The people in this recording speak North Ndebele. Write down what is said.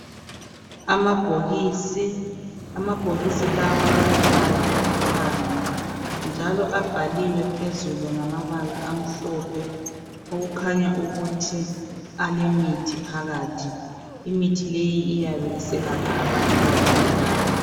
Amabhokisi, amabhokisi lawa alombhala olithanga njalo abhaliwe phezulu ngamabala amhlophe okuhanya ukuthi alemithi phakathi, imithi leyi iyabe iselapha abantu abagulayo.